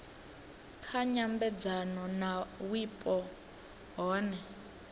kha nyambedzano na wipo hune